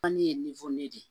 Fani ye de ye